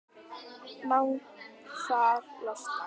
Naglfar losnar.